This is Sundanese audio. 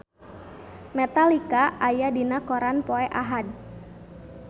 Metallica aya dina koran poe Ahad